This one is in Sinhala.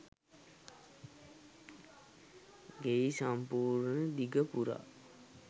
ගෙයි සම්පූර්ණ දිග පුරා